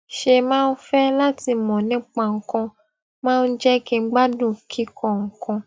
ṣe máa ń fé láti mò nípa nǹkan máa ń jé kí n gbádùn kíkó nǹkan